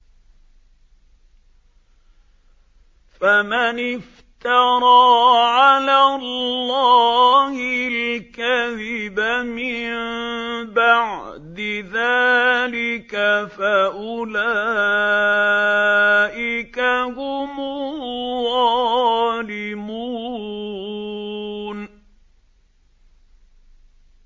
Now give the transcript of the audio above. فَمَنِ افْتَرَىٰ عَلَى اللَّهِ الْكَذِبَ مِن بَعْدِ ذَٰلِكَ فَأُولَٰئِكَ هُمُ الظَّالِمُونَ